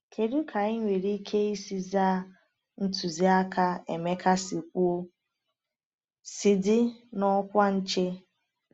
Kedu ka anyị nwere ike isi zaa ntụziaka Emeka si kwuo, sị “dị n’ọkwa nche”?